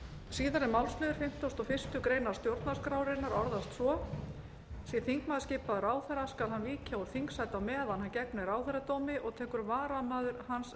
síðari málsliður fimmtugasta og fyrstu grein stjórnarskrárinnar orðast svo sé þingmaður skipaður ráðherra skal hann víkja úr þingsæti á meðan hann gegnir ráðherradómi og tekur varamaður hans